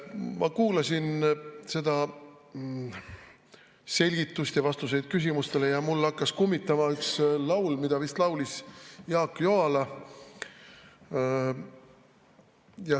Ma kuulasin seda selgitust ja vastuseid küsimustele ning mul hakkas kummitama üks laul, mida laulis vist Jaak Joala.